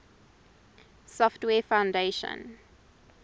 software foundation